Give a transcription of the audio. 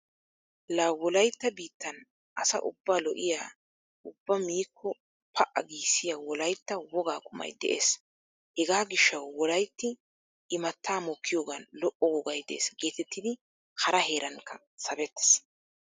La wolaytta biittan asa ubba lo'iya ubba miikko pa"a giissiya wolaytta wogaa qumayi de'ees. Hegaa gishshawu wolaytti imattaa mokkiyoogan lo'o wogay de'es geetettidi hara heeranikka sabettees.